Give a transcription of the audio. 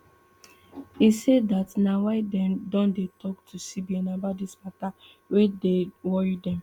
e say dat na why dem don dey tok to cbn about dis mata wey dey worry dem